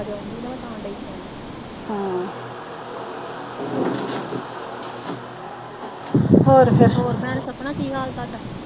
ਹੋਰ ਫੇਰ।